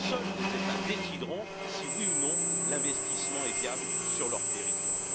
Seuls les États décideront si, oui ou non, l'investissement est viable sur leur territoire.